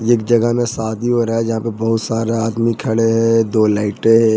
एक जगह में शादी हो रहा है जहां पे बहुत सारा आदमी खड़े हैं दो लाइटें हैं।